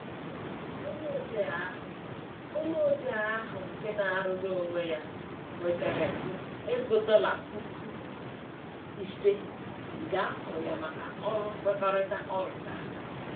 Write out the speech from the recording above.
Onye odee ahụ Onye odee ahụ nke na-arụrụ onwe ya nwetara ukwu ego dọla puku ise nke a kwụrụ ya maka ọrụ nkwekọrịta ọ rụchara.